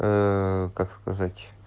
как сказать